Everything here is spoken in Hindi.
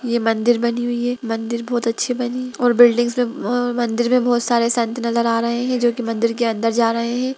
ये मंदिर बनी हुई है मंदिर बहुत अच्छी बनी है और बिल्डिंग में अ मंदिर में बहुत सारे संत नजर आ रहें हैं जो की मंदिर के अन्दर जा रहें हैं।